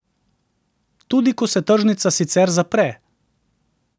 Tudi, ko se tržnica sicer zapre.